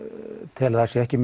tel að það séu ekki